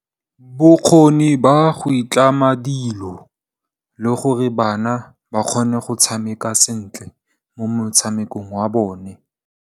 Bokgoni ba go itlama dilo le gore bana ba kgone go tshameka sentle mo motshamekong wa bone.